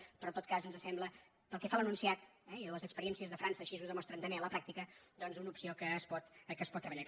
pe·rò en tot cas ens sembla pel que fa a l’enunciat eh i les experiències de frança així ho demostren també a la pràctica doncs una opció que es pot treballar